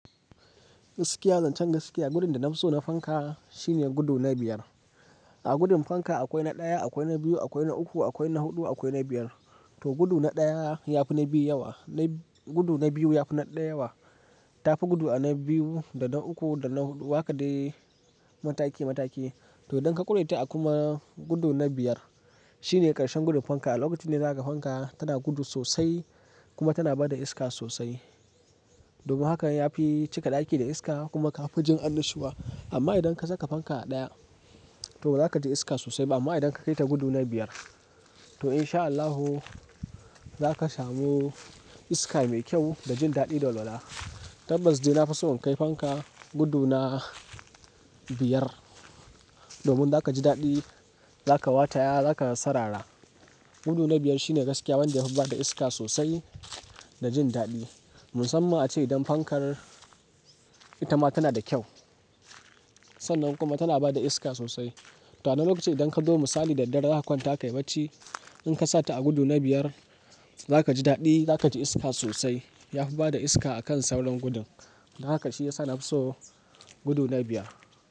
Gaskiya zancen gaskiya gudun da na fi so na fanka shine gudu na biyar. A gudun fanka akwai na ɗaya, akwai na biyu, akwai na uku, akwai na huɗu, akwai na biyar. To gudu na ɗaya yafi na biyu yawa, gudu na biyu yafi na ɗaya yawa. Tafi gudu a na biyu da na uku da na huɗu. Haka dai mataki mataki. To idan ka ƙure ta a kuma gudu na biyar, shine ƙarshen gudun fanka. Lokacin ne zaka ga fanka tana gudu sosai kuma tana bada iska sosai. Domin haka yafi cika ɗaki da iska kuma ka fi jin annashuwa. Amma idan ka saka fanka a ɗaya, to bazaka ji iska sosai. Amma idan ka kai ta gudu na biyar to in sha Allahu zaka samu iska mai kyau da jin daɗi da walwala Tabbas dai na fi so in kai fanka gudu na biyar. Domin zaka ji daɗi, zaka wataya zaka sarara. Gudu na biyar shine gaskiya wanda yafi bada iska sosai da jin daɗi. Musamman ace idan fankar ita ma tana da kyau. Sannan kuma tana bada iska sosai. To a nan lokacin idan kazo misali da daddare zaka kwanta kayi bacci. In ka sa ta a gudu na biyar za ka ji daɗi, za ka ji iska sosai. Yafi bada iska akan sauran gudun. Don haka shi ya sa na fi so gudu na biyar.